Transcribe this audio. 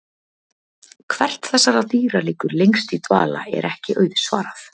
Hvert þessara dýra liggur lengst í dvala er ekki auðsvarað.